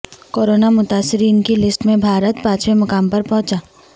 corona متاثرین کی list میں بھارت پانچویں مقام پر پہنچا